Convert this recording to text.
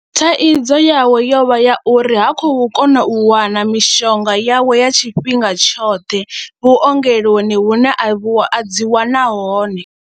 Thaidzo yawe yo vha ya uri ha khou kona u wana mishonga yawe ya tshifhinga tshoṱhe vhuongeloni hune a dzi wana hone.